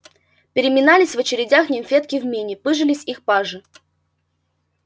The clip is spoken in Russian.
переминались в очередях нимфетки в мини пыжились их пажи